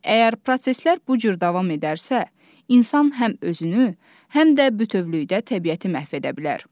Əgər proseslər bu cür davam edərsə, insan həm özünü, həm də bütövlükdə təbiəti məhv edə bilər.